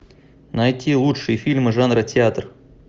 найти лучшие фильмы жанра театр